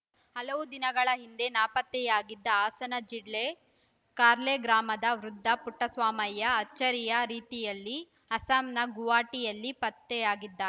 ಹಲವು ದಿನಗಳ ಹಿಂದೆ ನಾಪತ್ತೆಯಾಗಿದ್ದ ಹಾಸನ ಜಿಲ್ಲೆ ಕಾರ್ಲೆ ಗ್ರಾಮದ ವೃದ್ಧ ಪುಟ್ಟಸ್ವಾಮಯ್ಯ ಅಚ್ಚರಿಯ ರೀತಿಯಲ್ಲಿ ಅಸ್ಸಾಂನ ಗುವಾಹಟಿಯಲ್ಲಿ ಪತ್ತೆಯಾಗಿದ್ದಾರೆ